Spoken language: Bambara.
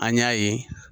An y'a ye